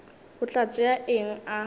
o tla tšea eng a